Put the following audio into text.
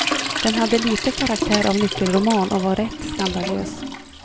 Den hade lite karaktär av nyckelroman och var rätt skandalös.